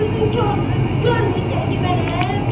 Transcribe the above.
Gözün kordur, görmürsən ki, mənəm?